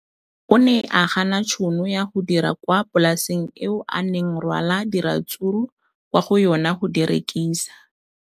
O ne a gana tšhono ya go dira kwa polaseng eo a neng rwala diratsuru kwa go yona go di rekisa.